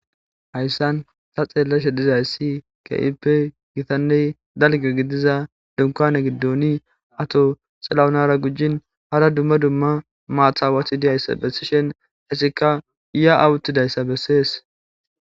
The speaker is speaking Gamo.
hayssan ta xeelleshe dizayssi kippe gitanney dalge gidiza dunkone giddoni ato xalawunara gujin hara dumma dumma maatawathi diyayssa bessishen hessikka iya awuttidayssa bessees